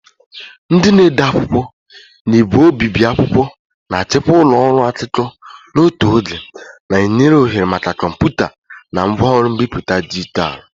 Ndị na-ede akwụkwọ na ígwè obibi akwụkwọ na-achịkwa ụlọ ọrụ akụkọ n'otu oge, na-enye ohere maka kọmputa na ngwaọrụ mbipụta dijitalụ.